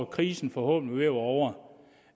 krisen forhåbentlig være ovre